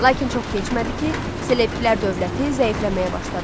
lakin çox keçmədi ki, Selevkilər dövləti zəifləməyə başladı.